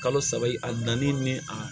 Kalo saba i na ni ni a